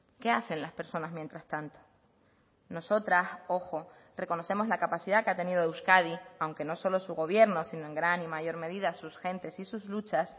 qué hacen las personas mientras tanto nosotras ojo reconocemos la capacidad que ha tenido euskadi aunque no solo su gobierno sino en gran y mayor medida sus gentes y sus luchas